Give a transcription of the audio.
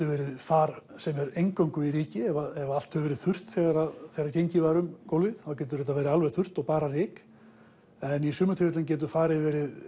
verið far sem er eingöngu í ryki ef allt hefur verið þurrt þegar þegar gengið var um gólfið þá getur þetta verið alveg þurrt og bara ryk en í sumum tilfellum getur farið